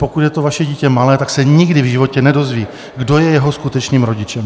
Pokud je to vaše dítě malé, tak se nikdy v životě nedozví, kdo je jeho skutečným rodičem.